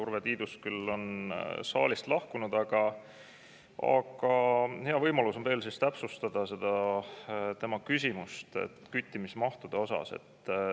Urve Tiidus küll on saalist lahkunud, aga hea võimalus on veel täpsustada vastust tema küsimusele küttimismahtude kohta.